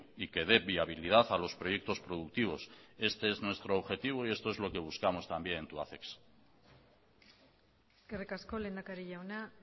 y que dé viabilidad a los proyectos productivos este es nuestro objetivo y esto es lo que buscamos también en tubacex eskerrik asko lehendakari jauna